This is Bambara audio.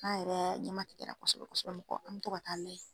An yɛrɛ ɲɛma ti kɛra kɔsɔbɛ kɔsɔbɛ mɔgɔ an mi to ka taa lajɛ